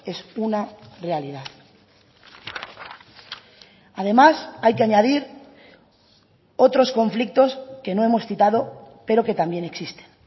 es una realidad además hay que añadir otros conflictos que no hemos citado pero que también existen